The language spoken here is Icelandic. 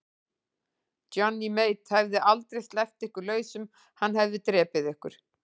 Johnny Mate hefði aldrei sleppt ykkur lausum, hann hefði drepið ykkur.